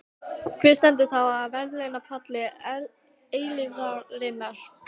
Hver stendur þá á verðlaunapalli eilífðarinnar?